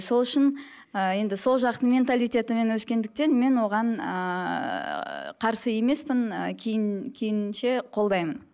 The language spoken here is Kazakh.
сол үшін ыыы енді сол жақтың менталитетімен өскендіктен мен оған ыыы қарсы емеспін қолдаймын